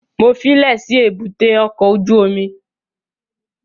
Mo fílẹ̀ sí èbúté ọkọ̀ ojú omi